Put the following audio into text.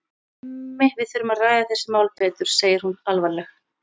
Hemmi, við þurfum að ræða þessi mál betur, segir hún alvarleg.